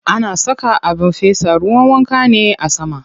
Ana saka abin fesa ruwan wanka ne a sama.